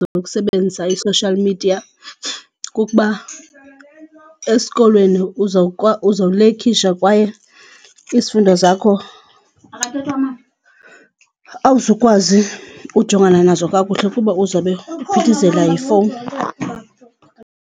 Zokusebenza ii-social media kukuba esikolweni uzolekhisha kwaye izifundo zakho awuzukwazi ujongana nazo kakuhle kuba uzawube uphithizela yifowuni.